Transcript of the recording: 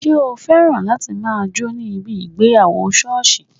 Ṣé o féràn láti máa jó ní ibi ìgbéyàwó sọ́ọ̀sì